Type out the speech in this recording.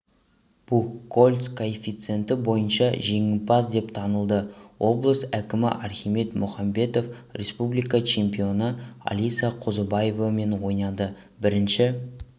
бухгольцкоэффициенті бойынша жеңімпаз деп танылды облыс әкімі архимед мұхамбетов республика чемпионы алиса қозыбаевамен ойнады бірінші